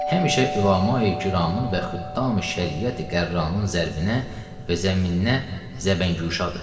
Həmişə ülama-i kiramın və xüttami-şəriəti-qərranın zərbinə və zəminnə zəbəngüşadır.